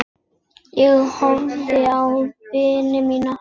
Ég horfði á vini mína.